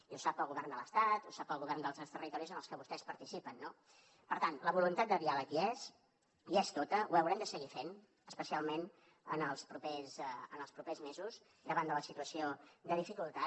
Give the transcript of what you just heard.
i ho sap pel govern de l’estat ho sap pel govern dels seus territoris en els que vostès participen no per tant la voluntat de diàleg hi és hi és tota ho haurem de seguir fent especialment en els propers mesos davant de la situació de dificultat